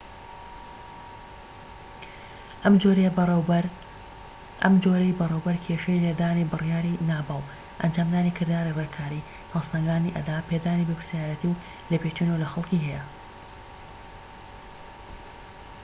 ئەم جۆرەی بەڕێوەبەر کێشەی لە دانی بڕیاری ناباو ئەنجامدانی کرداری ڕێککاری هەڵسەنگاندنی ئەدا پێدانی بەرپرسیاریەتی و لێپێچینەوە لە خەڵکی هەیە